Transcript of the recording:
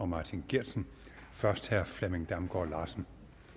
martin geertsen først herre flemming damgaard larsen